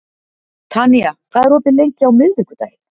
Tanía, hvað er opið lengi á miðvikudaginn?